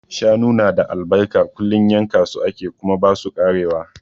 Shanu na da albarka, kullum yanka su ake kuma ba su karewa.